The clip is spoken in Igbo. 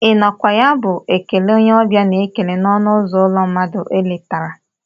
I nọ kwa ya ee bụ ekele onye ọbịa n'ekele n'ọnụ uzo ụlọ mmadụ ọ letara.